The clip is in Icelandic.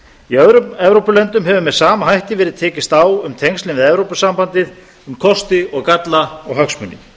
í öðrum evrópulöndum hefur með sama hætti verið tekist á um tengslin við evrópusambandið um kosti og galla og hagsmuni